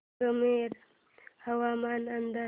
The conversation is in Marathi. संगमनेर हवामान अंदाज